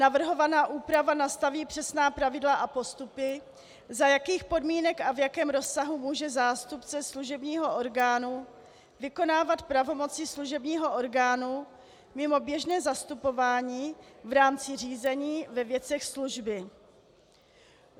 Navrhovaná úprava nastaví přesná pravidla a postupy, za jakých podmínek a v jakém rozsahu může zástupce služebního orgánu vykonávat pravomoci služebního orgánu mimo běžné zastupování v rámci řízení ve věcech služby.